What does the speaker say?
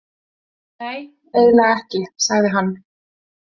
Nei, eiginlega ekki, sagði hann.